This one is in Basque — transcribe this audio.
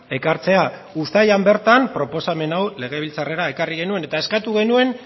ekartzea uztailean bertan proposamen hau legebiltzarrera ekarri genuen eta eskatu genuen